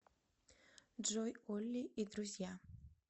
джой олли и друзья